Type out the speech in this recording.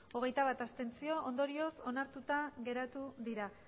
hogeita bat abstentzio ondorioz onartuta geratu dira